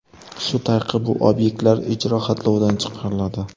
Shu tariqa bu obyektlar ijro xatlovidan chiqariladi.